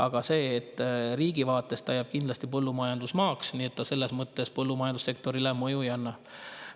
Aga riigi vaates jääb see kindlasti põllumajandusmaaks, nii et selles mõttes põllumajandussektorile mõju ei ole.